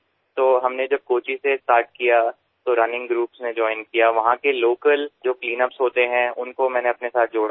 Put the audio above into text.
যখনআমরা কোচি থেকে শুরু করিতখনদৌড়ের দলগুলো যোগ দিয়েছিলো আমাদের সঙ্গে এবংসেখানকারস্থানীয় ক্লিন উপ ড্রাইভগুলোর সঙ্গেও নিজেকে যুক্ত করেছি